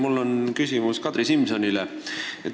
Mul on küsimus Kadri Simsonile.